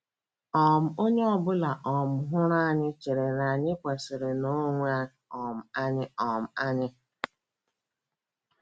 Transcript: um “ Onye ọ bụla um hụrụ anyị chere na anyị kwesịrị nnọọ onwe um anyị um anyị.